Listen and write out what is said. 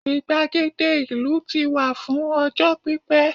igbagede ìlú ti wà fún ọjọ pipẹ